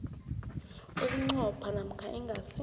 bunqopha namkha ingasi